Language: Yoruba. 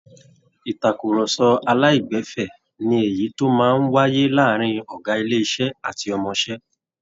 Ìtàkurọsọ aláìgbẹ̀fẹ́ ni èyí tó máa ń wáyé láàárin ọ̀gá ilé iṣẹ́ àti ọmọṣẹ́